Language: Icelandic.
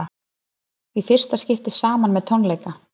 Í fyrsta skipti saman með tónleika